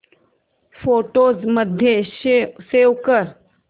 photos मध्ये save कर